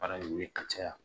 Baara in ye ka caya